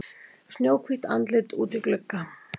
Snjóhvítt andlit úti í glugga.